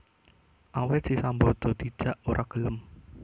Awit si Sambada dijak ora gelem